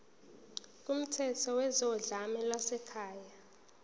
kumthetho wezodlame lwasekhaya